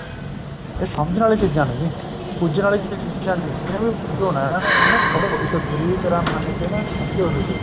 ਇਹ ਸਮਝਣ ਵਾਲੀਆਂ ਚੀਜ਼ਾਂ ਨੇ ਜੀ ਪੂਜਨ ਵਾਲੀਆਂ ਚੀਜ਼ਾਂ ਨੀ ਹੈਗੀਆ ਪੂਜੋ ਨਾ ਇਹਨਾ ਨੂੰ ਪੜ੍ਹੋ ਇੱਕ ਗੁਰੂ ਦੀ ਤਰ੍ਹਾਂ ਮੰਨ ਕੇ ਨਾ ਸਮਝੋ ਕੁੱਝ